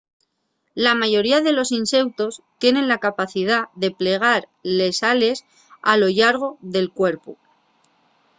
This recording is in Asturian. la mayoría de los inseutos tienen la capacidá de plegar les ales a lo llargo del cuerpu